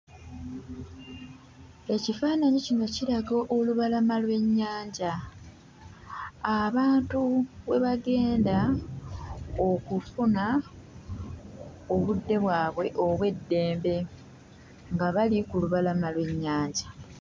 Ekifaananyi kino kiraga olubalama lw'ennyanja abantu we bagenda okufuna obudde bwabwe obw'eddembe nga bali ku lubalama lw'ennyanja.